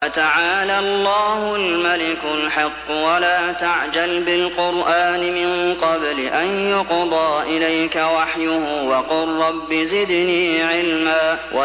فَتَعَالَى اللَّهُ الْمَلِكُ الْحَقُّ ۗ وَلَا تَعْجَلْ بِالْقُرْآنِ مِن قَبْلِ أَن يُقْضَىٰ إِلَيْكَ وَحْيُهُ ۖ وَقُل رَّبِّ زِدْنِي عِلْمًا